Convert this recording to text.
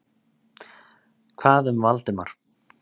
Hvað um Valdimar?